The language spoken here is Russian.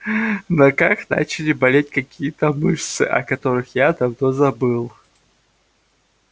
в ногах начали болеть какие-то мышцы о которых я давно забыл